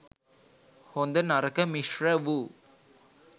හොඳ නරක මිශ්‍ර වූ,